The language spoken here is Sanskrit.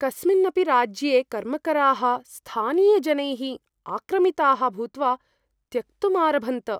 कस्मिन्नपि राज्ये कर्मकराः स्थानीयजनैः आक्रमिताः भूत्वा त्यक्तुम् आरभन्त।